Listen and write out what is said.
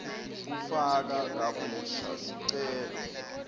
kufaka kabusha sicelo